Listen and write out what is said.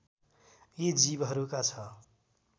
यी जीवहरूका छ